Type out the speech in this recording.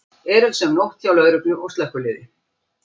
Erilsöm nótt hjá lögreglu og slökkviliði